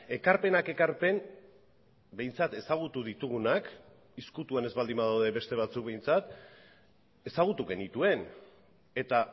ekarpenak ekarpen behintzat ezagutu ditugunak ezkutuan ez baldin badaude beste batzuk behintzat ezagutu genituen eta